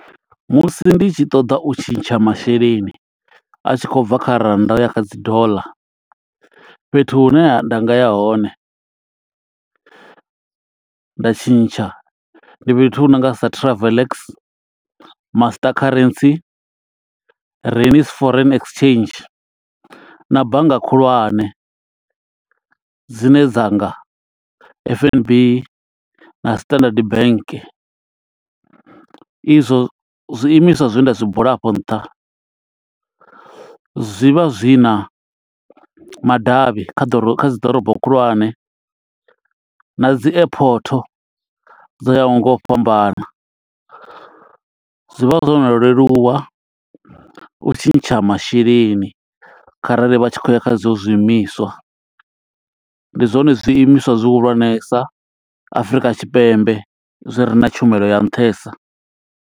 Musi ndi tshi ṱoḓa u tshintsha masheleni, a tshi khou bva kha rannda uya kha dzi dollar. Fhethu hune nda nga ya hone nda tshintsha, ndi fhethu hu nonga sa Travel Ex, Master Currency Reign Foreign Exchange, na bannga khulwane. Dzine dzanga F_N_B na Standard Bank. Izwo zwiimiswa zwe nda zwi bula a fho nṱha, zwi vha zwi na madavhi kha dzi ḓorobo khulwane, na dzi airport dzo yaho nga u fhambana. Zwi vha zwo no leluwa u tshintsha masheleni kharali vha tshi khou ya kha i zwo zwiimiswa. Ndi zwone zwiimiswa zwi hulwanesa Afrika Tshipembe, zwi re na tshumelo ya nṱhesa.